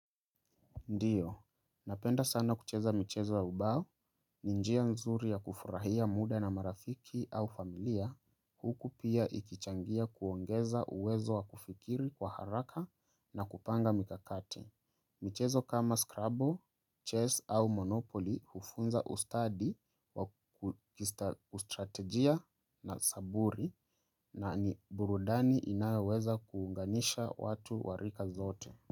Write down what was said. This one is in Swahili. Ndiyo, napenda sana kucheza michezo ya ubao, ni njia nzuri ya kufurahia muda na marafiki au familia, huku pia ikichangia kuongeza uwezo wa kufikiri kwa haraka na kupanga mikakati. Michezo kama scrubbo, chess au monopoly hufunza ustadi, ustrategia na saburi na ni burudani inayoweza kuunganisha watu warika zote.